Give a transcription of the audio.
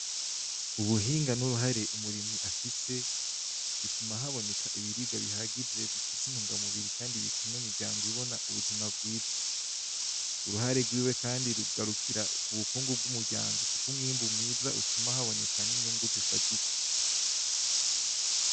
Ubuhinga nuruhare umurimyi afise bituma haboneka ibiribwa bihagije bifise intungamubiri kandi bituma imiryango ibona ubuzima bwiza uruhare rwiwe kandi rugarukira ku bukungu bw'umuryango kuko umwimbu mwiza utuma haboneka n'inyungu zifadika.